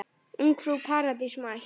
Ungfrú Paradís mætt!